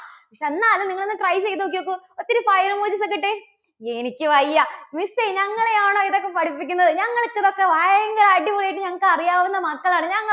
എന്നാലും നിങ്ങൾ ഒന്ന് try ചെയ്തു നോക്കിക്കേ. ഒത്തിരി file emojis ഒക്കെ ഇട്ടേ. എനിക്ക് വയ്യ. miss എ, ഞങ്ങളെയാണോ ഇതൊക്കെ പഠിപ്പിക്കുന്നത്? ഞങ്ങൾക്ക് ഇതൊക്കെ ഭയങ്കര അടിപൊളിയായിട്ട് ഞങ്ങൾക്ക് അറിയാവുന്ന മക്കൾ ആണ്. ഞങ്ങ~